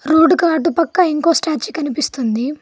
రోడ్డుకు అటుపక్క ఇంకో స్టాట్యూ కనిపిస్తుంది.